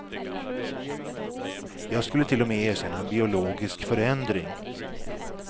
Jag skulle till och med erkänna en biologisk förändring.